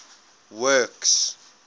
works